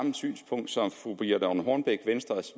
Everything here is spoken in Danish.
synspunkt som fru birthe rønn hornbech venstres